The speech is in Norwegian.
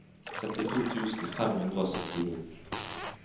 syttito tusen fem hundre og syttini